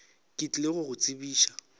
ke tlile go go tsebiša